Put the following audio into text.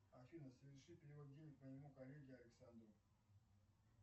афина соверши перевод денег моему коллеге александру